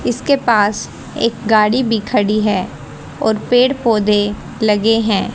इसके पास एक गाड़ी भी खड़ी है और पेड़ पौधे लगे हैं।